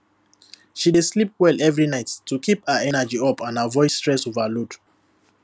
she dey sleep well every night to keep her energy up and avoid stress overload